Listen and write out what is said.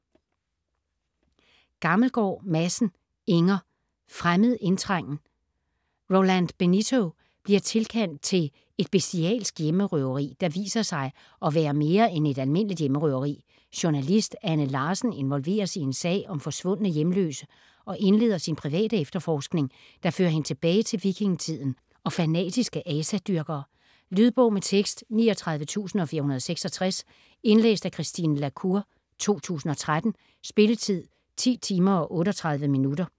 Gammelgaard Madsen, Inger: Fremmed indtrængen Roland Benito bliver tilkaldt til et bestialsk hjemmerøveri, der viser sig at være mere end et almindeligt hjemmerøveri. Journalist Anne Larsen involveres i en sag om forsvundne hjemløse og indleder sin private efterforskning, der fører hende tilbage til vikingetiden og fanatiske asadyrkere. Lydbog med tekst 39466 Indlæst af Christine la Cour, 2013. Spilletid: 10 timer, 38 minutter.